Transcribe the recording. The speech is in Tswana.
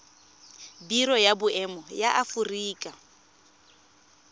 biro ya boemo ya aforika